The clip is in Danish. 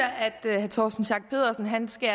man skal